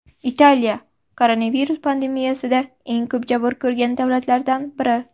Italiya koronavirus pandemiyasida eng ko‘p jabr ko‘rgan davlatlardan biri.